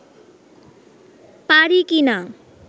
পারি কি না